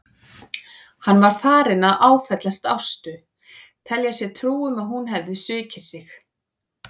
Hann var farinn að áfellast Ástu, telja sér trú um að hún hefði svikið sig.